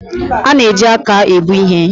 A na-eji aka ebu ihe